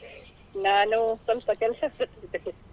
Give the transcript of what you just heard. ನಾನು ಸ್ವಲ್ಪ ಕೆಲಸದಲ್ಲಿದ್ದೆ.